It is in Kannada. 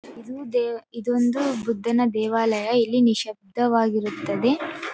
ಇದು ದೇ ಇದೊಂದು ಬುದ್ಧನ ದೇವಾಲಯ ಇಲ್ಲಿ ನಿಶಬ್ದವಾಗಿ ಇರುತ್ತದ್ದೆ.